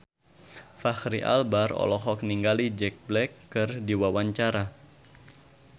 Fachri Albar olohok ningali Jack Black keur diwawancara